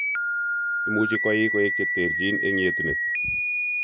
Imuuchi koik koek che teerchiin eng' yetunet .